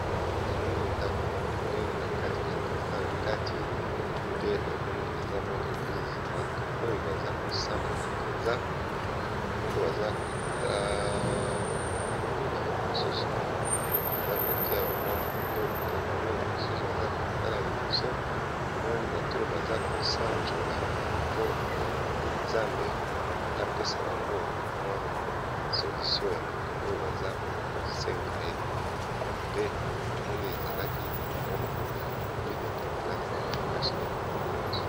Nomoni ndako moko ya monene bato baza nakati bazo sambela nzambe basi pe mibali